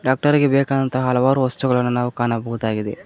ಡಾಕ್ಟರಿಗೆ ಬೇಕಾದಂತ ಹಲವಾರು ವಸ್ತುಗಳನ್ನು ನಾವು ಕಾಣಬಹುದಾಗಿದೆ.